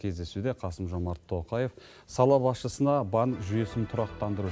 кездесуде қасым жомарт тоқаев сала басшысына банк жүйесін тұрақтандыру